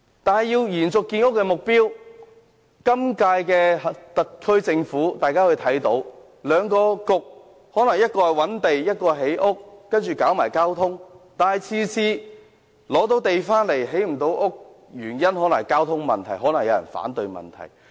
我們看到，今屆特區政府內有兩個政策局，一個負責覓地，一個負責建屋和交通，但即使成功覓得土地，也無法建成房屋，可能是因為交通問題或有人反對。